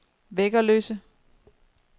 Væggerløse